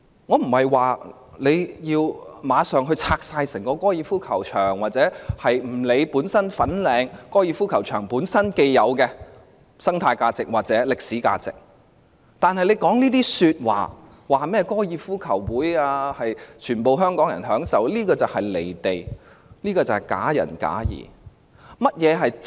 我不是要求立即清拆整個高爾夫球場，或不理會粉嶺高爾夫球場本身既有的生態價值或歷史價值，但她提出高爾夫球場是供全體香港人享用，這種說話相當"離地"和假仁假義的。